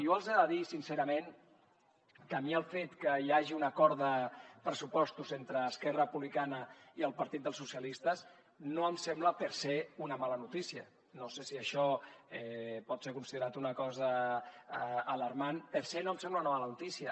jo els he de dir sincerament que a mi el fet que hi hagi un acord de pressupostos entre esquerra republicana i el partit dels socialistes no em sembla per se una mala notícia no sé si això pot ser considerat una cosa alarmant per se no em sembla una mala notícia